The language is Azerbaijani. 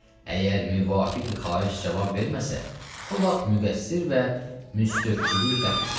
Əgər müvafiq xahiş cavab verməsə, o vaxt müqəssir və müstövcfül-qətldir.